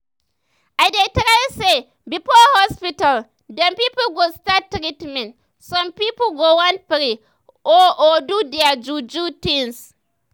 i dey try say before hospital dem pipo go start treatment some pipo go want pray or or do their ju-ju things.